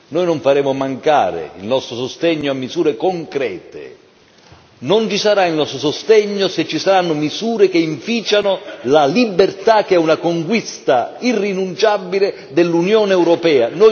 Noi non faremo mancare il nostro sostegno a misure concrete ma negheremo il nostro sostegno a misure che inficiano la libertà, che è una conquista irrinunciabile dell'Unione europea.